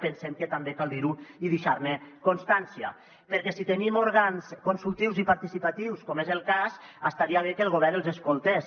pensem que també cal dir ho i deixar ne constància perquè si tenim òrgans consultius i participatius com és el cas estaria bé que el govern els escoltés